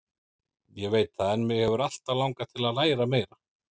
Ég veit það en mig hefur alltaf langað til að læra meira.